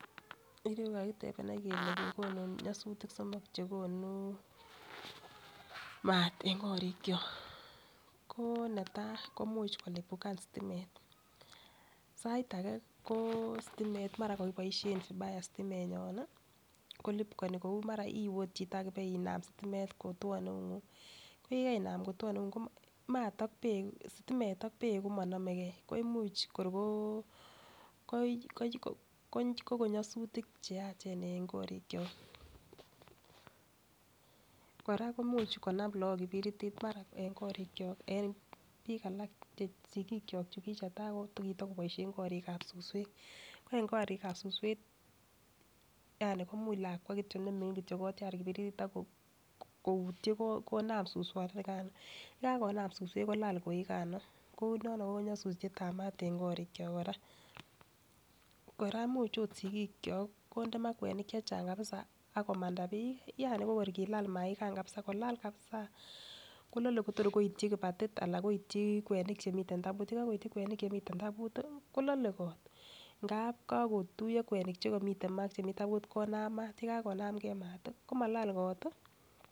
En yu kakitep any kele kekonu nyasutik somok che konu maat eng' korikchok. Ko ne tai, ko much ko lipukan stimet. Sait age ko stimet ko mara kakipaishe vibaya stimenyon i, kolipukani kou mara iwe chito ak ipenam stimet kotuan eung'ung'. Ko kanam kotuon eung'ung' ko stimet ak peek ko ma name gei ko imuch kor ko kon nyasutik che yachen eng' korikyok. Kora ko much konam lagok kipiritit marak eng' korikyok eng' piik alak che sikiik chok che kitai ko kitakopaishen karik ap susewek. Ko eng' korik ap suswek, yani komuch lakwa ne mining' kotiar kipiritit ako koitye konam suswanikan. Ye kakonam suswek ko lal koikan kou no ko nyasutiet ap mat eng' korikyok. Kora much agot sikikyok konde ma kwenik che chang' kapisw akomanda pii yani ko kor kolal maikan kapsa, kolal kapsa kolale ko tukor koityi kipatit anan koityi kweniik che miten tabut. Ye kakoityi kwenik che miten tabut kolale kot. Ngap kakotuya kwenik che miten ma ak che miten taput konam mat, ye kakonamgei mat ko mall kot i.